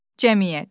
Cəmiyyət.